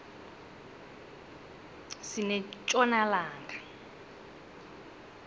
sinetjona langa